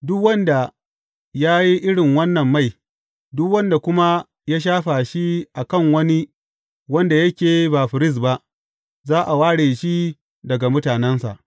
Duk wanda ya yi irin wannan mai, duk wanda kuma ya shafa shi a kan wani wanda yake ba firist ba, za a ware shi daga mutanensa.’